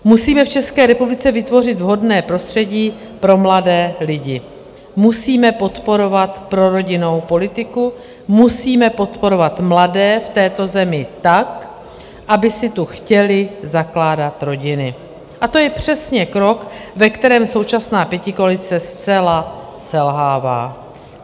Musíme v České republice vytvořit vhodné prostředí pro mladé lidi, musíme podporovat prorodinnou politiku, musíme podporovat mladé v této zemi tak, aby si tu chtěli zakládat rodiny, a to je přesně krok, ve kterém současná pětikoalice zcela selhává.